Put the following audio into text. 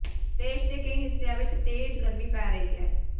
ਦੇਸ਼ ਦੇ ਕਈ ਹਿੱਸਿਆਂ ਚ ਤੇਜ਼ ਗਰਮੀ ਪੈ ਰਹੀ ਹੈ